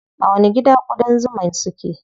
A wani gida ƙudan zuman su ke?